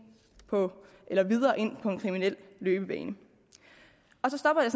på en kriminel løbebane så stopper jeg